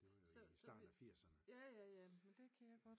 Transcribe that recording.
Det var jo i starten af firserne